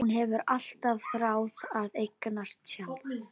Hún hefur alltaf þráð að eignast tjald.